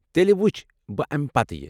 تیٚلہِ وُچھ بہٕ امہ پتہٕ یہِ ۔